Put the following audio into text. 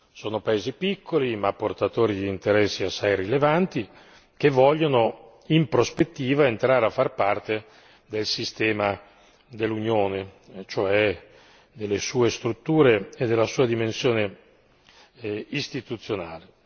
Sono paesi piccoli, ma portatori di interessi assai rilevanti che vogliono, in prospettiva, entrare a far parte del sistema dell'Unione, cioè delle sue strutture e della sua dimensione istituzionale.